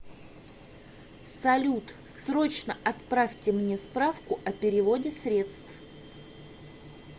салют срочно отправьте мне справку о переводе средств